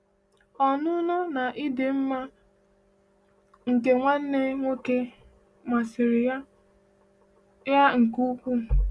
Ọnụnọ na ịdị mma nke nwanne nwoke a masịrị ya ya nke ukwuu.